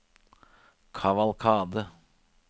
kavalkade